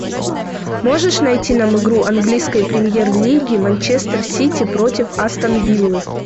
можешь найти нам игру английской премьер лиги манчестер сити против астон виллы